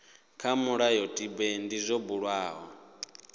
kha mulayotibe ndi zwo bulwaho